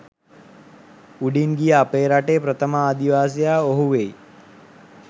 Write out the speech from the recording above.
උඩින් ගිය අපේ රටේ ප්‍රථම ආදිවාසියා ඔහු වෙයි